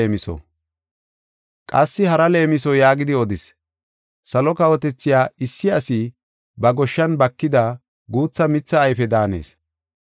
Qassi hara leemiso yaagidi odis; “Salo kawotethay issi asi ba goshshan bakida guutha mithee ayfe daanees.